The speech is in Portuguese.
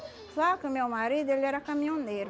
Só que o meu marido, ele era caminhoneiro.